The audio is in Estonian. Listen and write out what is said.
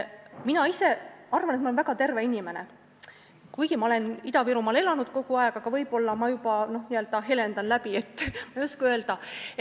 Mina ise arvan, et ma olen väga terve inimene, kuigi ma olen kogu aeg Ida-Virumaal elanud, aga võib-olla ma n-ö helendan, ma ei oska öelda.